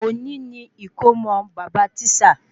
Oni ni ikomo bàbá tisa